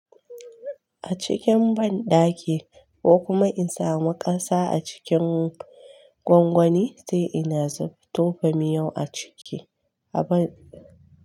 A cikin banɗaki ko kuma in samu ƙasa a cikin gwangwani sai ina tofa miyau a ciki a banɗaki.